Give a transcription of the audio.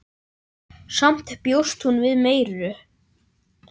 Samt bjóst hún við meiru.